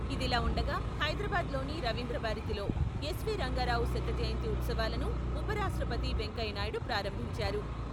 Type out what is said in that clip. ఇదిలా ఉండగా, హైదరాబాద్ లోని రవీంద్రభారతిలో ఎస్ వి రంగారావు శతజయంతి ఉత్సవాలను ఉపరాష్ట్రపతి వెంకయ్యనాయుడు ప్రారంభించారు.